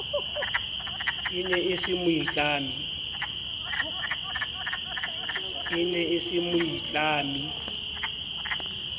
e ne e se moitlami